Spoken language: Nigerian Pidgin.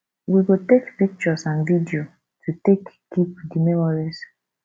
we go take pictures and video to take keep di memories